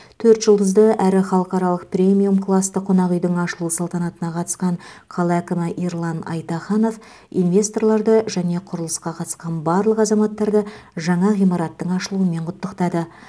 төрт жұлдызды әрі халықаралық премиум классты қонақ үйдің ашылу салтанатына қатысқан қала әкімі ерлан айтаханов инвесторларды және құрылысқа қатысқан барлық азаматтарды жаңа ғимараттың ашылуымен құттықтады